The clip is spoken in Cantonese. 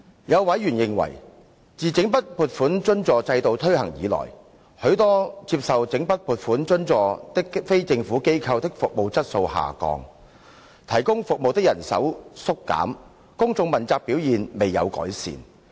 有委員認為，自整筆撥款津助制度推行以來，許多接受整筆撥款津助的非政府機構的服務質素下降，提供服務的人手縮減，公眾問責表現未有改善。